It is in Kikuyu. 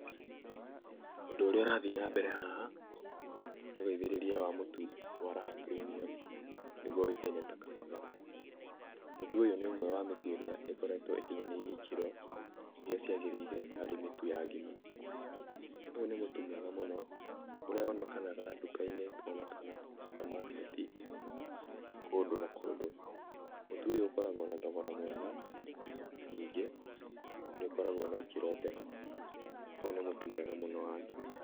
Ũndũ ũrĩa ũrathiĩ na mbere haha nĩ ũgathĩrĩria wa mũtu wa raha premium, nĩguo ũĩkaine ta kabagara. Mũtũ ũyũ nĩ ũmwe wa mĩtu ĩrĩa ĩkoragwo ĩkinyanĩirie ikĩro iria ciagĩrĩire harĩ mĩtu ya ngima. Ũyũ nĩ mũtu mwega mũno, ũrĩa wonekanaga nduka-inĩ ona kana supermarket kũndũ na kũndũ. Mũtu ũyũ ũkoragwo na thogora mwega na ningĩ nĩ ũkoragwo na ikĩro njega. Ũyũ nĩ mũtu mwega mũno wa ngima.